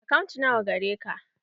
Akant nawa gareka?